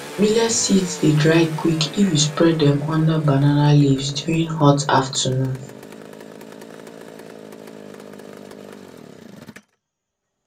millet seeds dey dry quick if you spread dem under banana leaves during hot afternoon